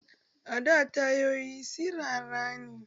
A da tayoyi sirara ne